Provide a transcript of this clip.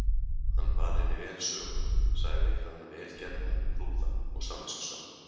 Hann bar henni vel söguna, sagði hana vel gefna, prúða og samviskusama.